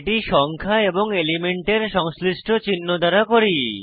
এটি সংখ্যা এবং এলিমেন্টের সংশ্লিষ্ট চিহ্ন দ্বারা করি